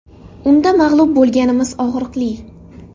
Unda mag‘lub bo‘lganimiz og‘riqli.